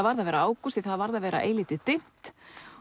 varð að vera ágúst því það varð að vera eilítið dimmt